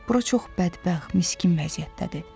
Bura çox bədbəxt, miskin vəziyyətdədir.